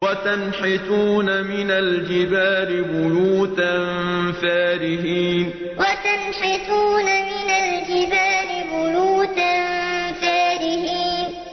وَتَنْحِتُونَ مِنَ الْجِبَالِ بُيُوتًا فَارِهِينَ وَتَنْحِتُونَ مِنَ الْجِبَالِ بُيُوتًا فَارِهِينَ